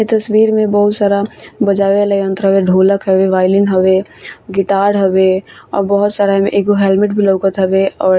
इ तस्वीर में बहुत सारा बजावे वाला यंत्र हवे ढोलक हवे बाइलन हवे गिटार हवे और बहुत सारा एगो हेलमेट भी लोकत हवे और --